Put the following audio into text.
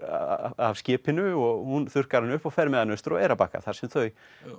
af skipinu og hún þurrkar hann upp og fer með hann austur á Eyrarbakka þar sem þau